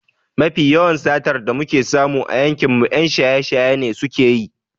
Mafi yawan satar da muke samu a yankinmu 'yan shaye-shaye ne suke yi.